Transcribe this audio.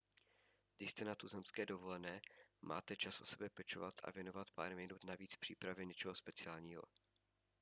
když jste na tuzemské dovolené máte čas o sebe pečovat a věnovat pár minut navíc přípravě něčeho speciálního